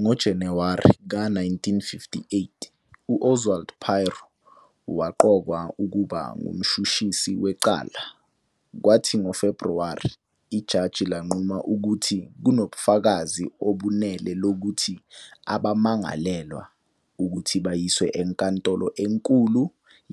NgoJanuwari ka 1958, u-Oswald Pirow waqokwa ukuba ngumshushisi wecala, kwathi ngoFebruwari, ijaji lanquma ukuthi kunobufakazi obenele lokuthi abamangalelwa ukuthi bayiswe eNkantolo eNkulu